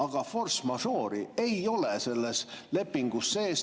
Aga force majeure'i ei ole selles lepingus sees.